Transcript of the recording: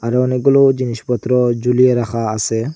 আরো অনেকগুলো জিনিসপত্র ঝুলিয়ে রাখা আসে।